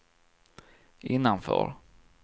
innanför